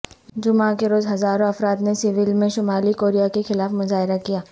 جمعہ کے روز ہزاروں افراد نے سیئول میں شمالی کوریا کے خلاف مظاہرہ کیا